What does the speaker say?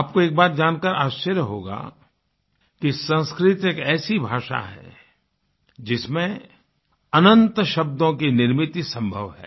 आपको एक बात जानकर के आश्चर्य होगा कि संस्कृत एक ऐसी भाषा है जिसमें अनंत शब्दों की निर्मिती संभव है